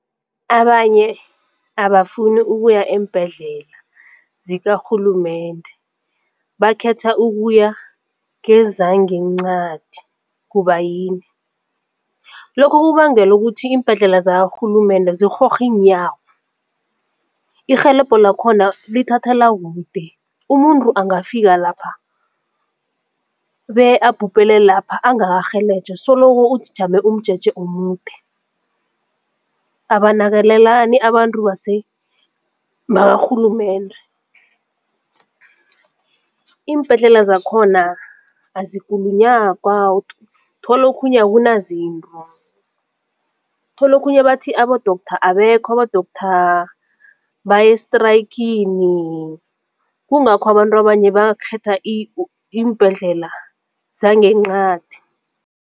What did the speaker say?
Abanye abafuni ukuya eembhedlela zikarhulumende bakhetha ukuya kezangenqadi kubayini? Lokho kubangela ukuthi iimbhedlela zakarhulumende zirhorha iinyawo irhelebho lakhona lithathela kude umuntu angafika lapha bekabhubhele lapha angabarhelejwa soloko ujame umjeje omude. Abanakekelani abantu bakarhulumende, iimbhedlela zakhona azikulunyagwa uthola okhunye akunazinto. Uthola okhunye bathi abo-doctor abekho abo-doctor baye estrayikhini kungakho abantu abanye bakhetha iimbhedlela zangenqadi.